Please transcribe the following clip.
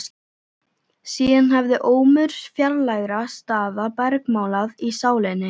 Síðan hafði ómur fjarlægra staða bergmálað í sálinni.